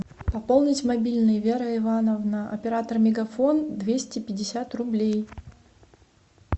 пополнить мобильный вера ивановна оператор мегафон двести пятьдесят рублей